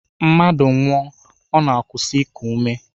Mmadụ nwụọ, ọ na-akwụsị iku ume